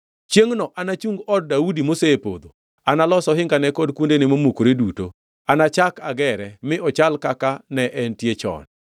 “Chiengʼno anachung od Daudi mosepodho. Analos ohingane kod kuondene momukore duto. Anachak agere mi ochal kaka, ne entie chon,